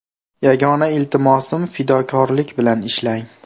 Yagona iltimosim fidokorlik bilan ishlang!